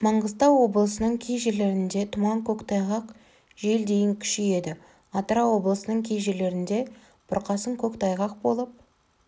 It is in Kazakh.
маңғыстау облысының кей жерлерінде тұман көктайғақ жел дейін күшейеді атырау облысының кей жерлерінде бұрқасын көктайғақ болып